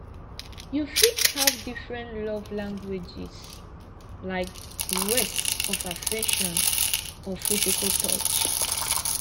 you fit have different love languages like words of affirmation or physical touch